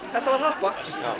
var happa